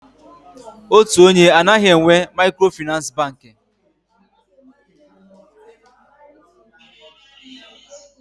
Otu onye anaghị enwe Maịkrofịnansị Bankị.